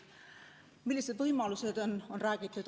Millised võimalused on, on räägitud.